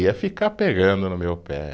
Ia ficar pegando no meu pé.